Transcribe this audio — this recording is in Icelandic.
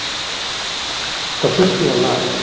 Það þurfi að laga.